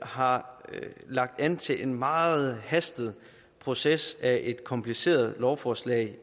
har lagt an til en meget forhastet proces af et kompliceret lovforslag